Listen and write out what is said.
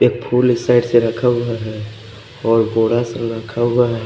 एक फुल इस साइड से रखा हुआ है ओए भूडा सा रखा हुआ है।